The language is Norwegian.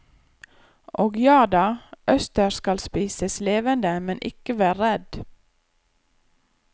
Og jada, østers skal spises levende, men ikke vær redd.